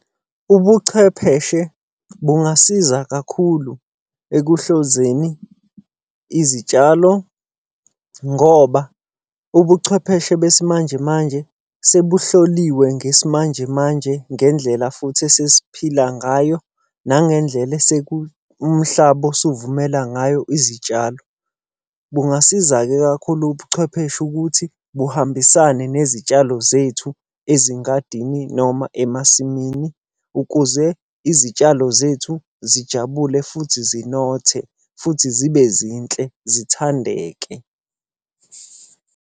Ubuchwepheshe bungasiza kakhulu ekuhlozeni izitshalo, ngoba ubuchwepheshe besimanje manje sebuhloliwe ngesimanje manje ngendlela futhi esesiphila ngayo nangendlela umhlaba osuvumela ngayo izitshalo. Bungasiza-ke kakhulu ubuchwepheshe ukuthi buhambisane nezitshalo zethu ezingadini noma emasimini. Ukuze izitshalo zethu zijabule futhi zinothe, futhi zibe zinhle zithandeke.